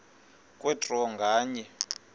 kwe draw nganye